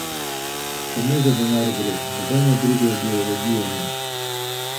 Samo za denar gre, nobene druge ideologije ni!